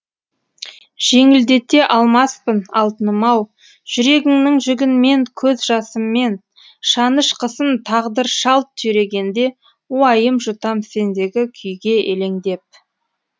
жеңілдете алмаспын алтыным ау жүрегіңнің жүгін мен көз жасыммен шанышқысын тағдыр шалт түйрегенде уайым жұтам сендегі күйге елеңдеп